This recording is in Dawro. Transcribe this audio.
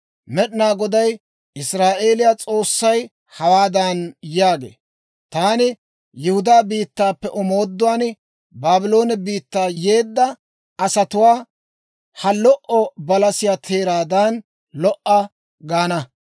«Med'inaa Goday Israa'eeliyaa S'oossay hawaadan yaagee; ‹Taani Yihudaa biittaappe omooduwaan Baabloone biittaa yeddeedda asatuwaa, ha lo"o balasiyaa teeraadan lo"a gaana.